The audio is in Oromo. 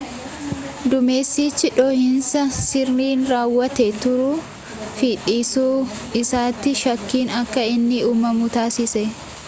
duumessichi dhoohiinsi sirriin raawwatee turuu fi dhiisuu isaatiif shakkiin akka inni uumamu taasise